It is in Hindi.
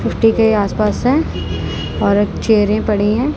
के आस पास है और चेयरें पड़ी है।